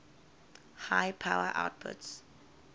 high power outputs